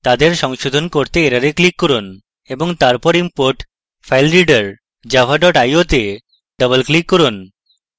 তাদের সংশোধন করতে error click করুন এবং তারপরে import filereader java io to double click করুন